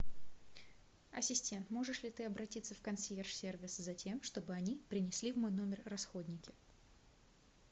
ассистент можешь ли ты обратиться в консьерж сервис затем чтобы они принесли в мой номер расходники